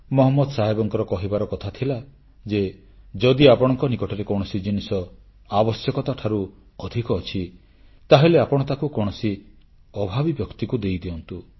ପୈଗମ୍ବର ମହମ୍ମଦଙ୍କର କହିବାର କଥା ଥିଲା ଯେ ଯଦି ଆପଣଙ୍କ ନିକଟରେ କୌଣସି ଜିନିଷ ଆବଶ୍ୟକତାଠାରୁ ଅଧିକ ଅଛି ତାହେଲେ ଆପଣ ତାକୁ କୌଣସି ଅଭାବୀ ବ୍ୟକ୍ତିକୁ ଦେଇଦିଅନ୍ତୁ